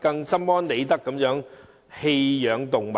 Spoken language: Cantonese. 更心安理得地棄養動物。